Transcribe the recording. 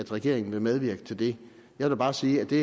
regeringen vil medvirke til det jeg vil bare sige at det